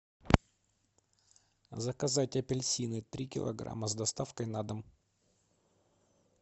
заказать апельсины три килограмма с доставкой на дом